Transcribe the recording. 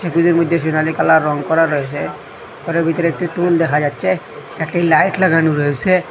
এগুলির মুদ্ধে সেনালী কালার রং করা রয়েসে ঘরের ভিতরে একটি টুল দেখা যাচ্ছে একটি লাইট লাগানো রয়েসে।